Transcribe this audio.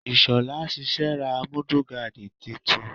Ìshola sẹ̀sẹ̀ ra Múdúgáàdì titun.